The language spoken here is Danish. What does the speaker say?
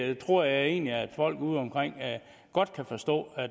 jeg tror egentlig at folk udeomkring godt kan forstå